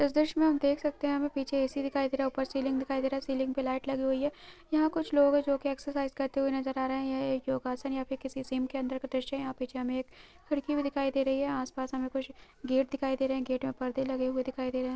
इस दृश्य मे आप देख सकते हैं यहाँ पे पीछे ऐ.सी दिखाई दे रहा है ऊपर सीलिंग दिखाई दे रहा सीलिंग पे लाइट लगी हुई है यहाँ पे कुछ लोग हैं जो की एक्सर्साइज़ करते हुए नज़र आ रहे हैं एक योग आसान या फिर किसी सीन के अंदर का दृश्य है यहाँ पीछे हमे एक खिड़की भी दिखाई दे रही है आस पास हमे कुछ गेट दिखाई दे रहे हैं गेट मे परदे लगे हुए दिखाई दे रहे हैं।